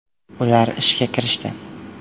Ular ishga kirishdi.